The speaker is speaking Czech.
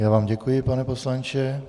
Já vám děkuji, pane poslanče.